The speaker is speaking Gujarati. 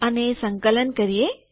અને સંકલન કરીએ